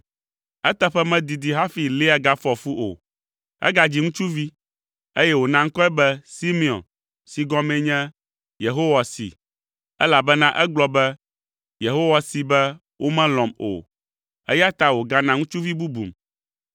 Eteƒe medidi hafi Lea gafɔ fu o. Egadzi ŋutsuvi, eye wòna ŋkɔe be Simeon si gɔmee nye “Yehowa see,” elabena egblɔ be, “Yehowa see be womelɔ̃m o, eya ta wògana ŋutsuvi bubum.”